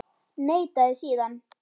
Neitaði síðan.